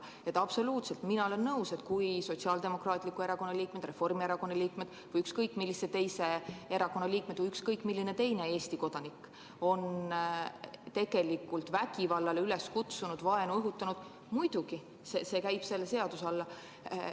Ma olen absoluutselt nõus, et kui Sotsiaaldemokraatliku Erakonna, Reformierakonna või ükskõik millise teise erakonna liikmed või ükskõik milline teine Eesti kodanik on vägivallale üles kutsunud ja vaenu õhutanud, siis käivad selle seaduse alla.